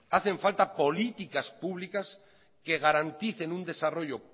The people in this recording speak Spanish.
hacen falta políticas públicas que garanticen un desarrollo